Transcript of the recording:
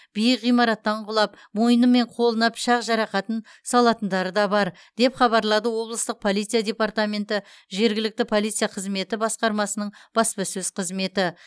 биік ғимараттан құлап мойны мен қолына пышақ жарақатын салатындары да бар деп хабарлады облыстық полиция департаменті жергілікті полиция қызметі басқармасының баспасөз қызметі